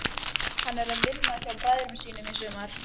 Hann var að vinna hjá bræðrunum í sumar.